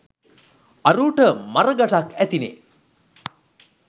අරූට මර ගටක් ඇතිනෙ